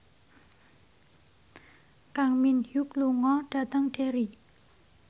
Kang Min Hyuk lunga dhateng Derry